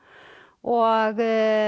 og